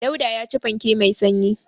Dauda ya ci fanke mai sanyi.